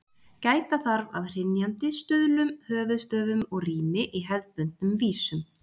Gæta þarf að hrynjandi, stuðlum, höfuðstöfum og rími í hefðbundnum vísum.